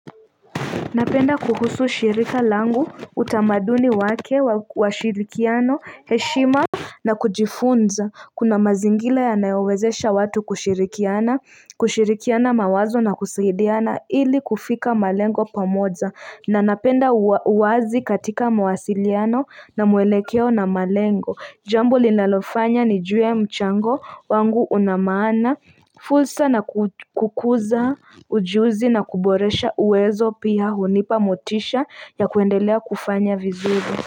Napenda kuhusu shirika langu utamaduni wake washirikiano heshima na kujifunza kuna mazingira yanayowezesha watu kushirikiana kushirikiana mawazo na kusaidiana ili kufika malengo pamoja na napenda uwazi katika mawasiliano na mwelekeo na malengo Jambo linalofanya nijue mchango wangu unamaana, fulsa na kukuza ujuzi na kuboresha uwezo pia hunipa motisha ya kuendelea kufanya vizuri.